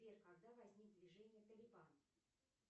сбер когда возник движение талибан